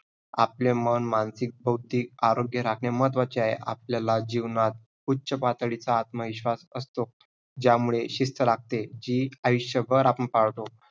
आपले मन मानसिक, बौद्धिक आरोग्य राखणे महत्वाचे आहे. आपल्याला जीवनात उच्च पातळीचा आत्मविश्वास असतो. ज्यामुळे शिस्त लागते. जी आयुष्यभर आपण पाळतो